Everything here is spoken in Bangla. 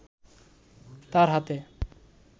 তার হাতে